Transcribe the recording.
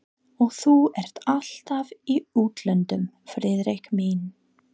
Og þú ert alltaf í útlöndum, Friðrik minn